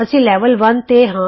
ਅਸੀਂ ਲੈਵਲ 1 ਤੇ ਹਾਂ